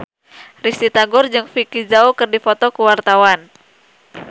Risty Tagor jeung Vicki Zao keur dipoto ku wartawan